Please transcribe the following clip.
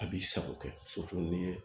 A b'i sago kɛ n'i ye